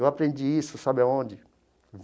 Eu aprendi isso, sabe aonde?